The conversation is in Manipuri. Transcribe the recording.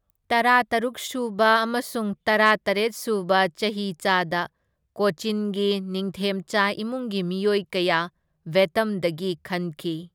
ꯇꯔꯥꯇꯔꯨꯛ ꯁꯨꯕ ꯑꯃꯁꯨꯡ ꯇꯔꯥꯇꯔꯦꯠ ꯁꯨꯕ ꯆꯍꯤꯆꯥꯗ ꯀꯣꯆꯤꯟꯒꯤ ꯅꯤꯡꯊꯦꯝꯆꯥ ꯏꯃꯨꯡꯒꯤ ꯃꯤꯑꯣꯏ ꯀꯌꯥ ꯚꯦꯇꯝꯗꯒꯤ ꯈꯟꯈꯤ꯫